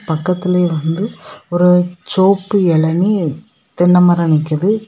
பக்கத்துலையே வந்து ஒரு செவப்பு இளநீ தென்னமரம் நிக்குது.